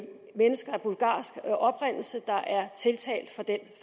mennesker af bulgarsk oprindelse der er tiltalt for den